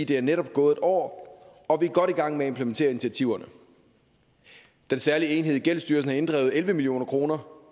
der netop er gået et år og vi er godt i gang med at implementere initiativerne den særlige enhed i gældsstyrelsen har inddrevet elleve million kroner